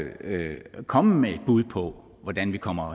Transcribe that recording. komme med et bud på hvordan vi kommer